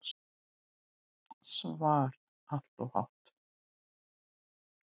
SVAR Allt of há.